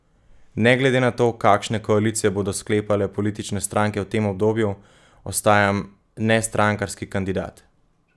Ne glede na to, kakšne koalicije bodo sklepale politične stranke v tem obdobju, ostajam nestrankarski kandidat.